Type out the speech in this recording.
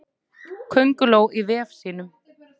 Könguló í vef sínum.